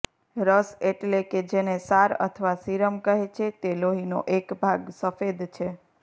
રસ એટલે કે જેને સાર અથવા સિરમ કહે છે તે લોહીનો એક સફેદ ભાગ છે